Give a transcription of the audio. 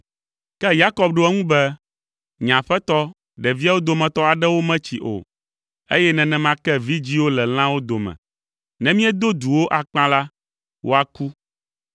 Ke Yakob ɖo eŋu be, “Nye aƒetɔ, ɖeviawo dometɔ aɖewo metsi o, eye nenema ke vidzĩwo le lãwo dome. Ne míedo du wo akpa la, woaku,